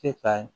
E ka